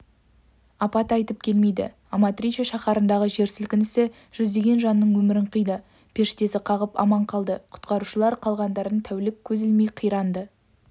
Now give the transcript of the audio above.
апат айтып келмейді аматриче шаһарындағы жер сілкінісі жүздеген жанның өмірін қиды періштесі қағып аман қалды құтқарушылар қалғандарын тәулік көз ілмей қиранды